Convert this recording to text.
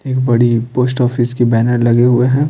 एक बड़ी post office के बैनर लगे हुए हैं।